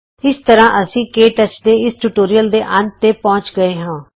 ਇਸ ਤਰ੍ਹਾਂ ਅਸੀਂ ਕੇ ਟੱਚ ਦੇ ਇਸ ਟਿਯੂਟੋਰੀਅਲ ਦੇ ਅੰਤ ਤੇ ਪਹੁੰਚ ਗਏ ਹਾਂ